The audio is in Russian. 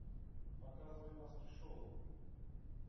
показывай маски шоу